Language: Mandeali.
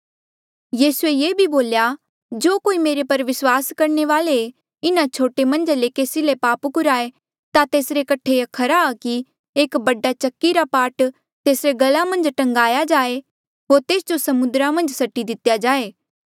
यीसूए ये भी बोल्या जो कोई मेरे पर विस्वास करणे वाले इन्हा छोटे मन्झा ले केसी ले पाप कुराहें ता तेसरे कठे खरा आ कि एक बड़ा चक्की रा पाट तेसरे गला मन्झ टांग्या जाए होर तेस जो समुद्रा मन्झ सट्टी दितेया जाए